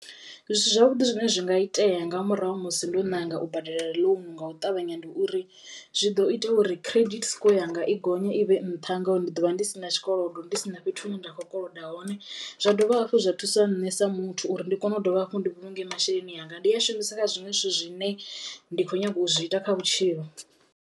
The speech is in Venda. Zwithu zwavhuḓi zwine zwi nga itea nga murahu ha musi ndo ṋanga u badela ḽounu nga u ṱavhanya ndi uri zwi ḓo ita uri credit score yanga i gonye i vhe nṱha ngauri ndi ḓo vha ndi sina tshikolodo, ndi si na fhethu hune nda khou koloda hone, zwa dovha hafhu zwa thusa nṋe sa muthu uri ndi kono u dovha hafhu ndi vhulunge masheleni anga ndi a shumise kha zwiṅwe zwithu zwine ndi kho nyago u zwi ita kha vhutshilo.